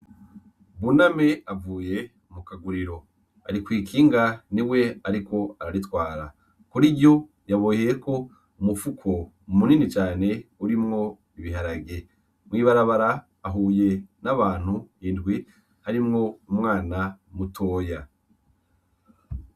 Buname avuye ku kaguriro . Ari kw’ ikinga niwe ariko araritwara , kuri ryo yaboheyeko umufuko minini cane urimwo ibiharage . Mw’ibarabara ahuye n’abantu indwi harimwo umwana mutoya.